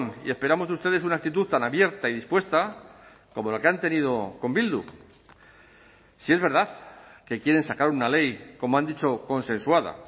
y esperamos de ustedes una actitud tan abierta y dispuesta como la que han tenido con bildu si es verdad que quieren sacar una ley como han dicho consensuada